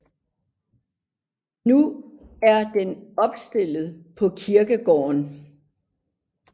Nu er den opstillet på kirkegården